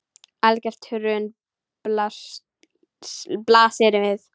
Algert hrun blasir við.